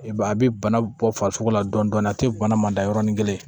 I b'a a bɛ bana bɔ farisogo la dɔɔnin dɔɔnin a tɛ bana man da yɔrɔnin kelen